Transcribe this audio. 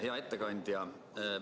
Hea ettekandja!